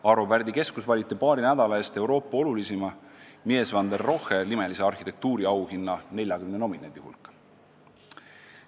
Arvo Pärdi Keskus valiti paari nädala eest Euroopa olulisima, Mies van der Rohe nimelise arhitektuuriauhinna 40 nominendi hulka.